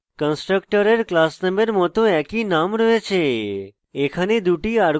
কন্সট্রাকটরের class নেমের মত একই name রয়েছে